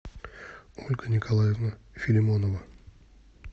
ольга николаевна филимонова